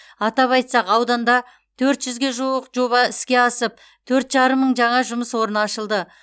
атап айтсақ ауданда төрт жүзге жуық жоба іске асып төрт жарым мың жаңа жұмыс орны ашылды